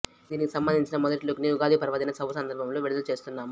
దీనికి సంభందించిన మెదటిలుక్ ని ఉగాది పర్వదిన శుభసందర్బంలో విడుదల చేస్తున్నాము